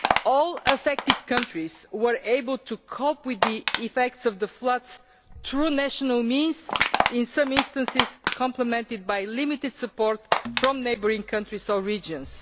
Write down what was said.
All affected countries were able to cope with the effects of the floods through national means, in some instances complemented by limited support from neighbouring countries or regions.